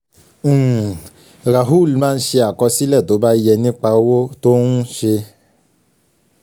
um rahul máa ń ṣe àkọsílẹ̀ tó bá yẹ nípa òwò um tó ń um ṣe